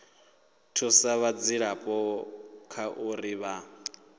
thusa vhadzulapo kha uri vha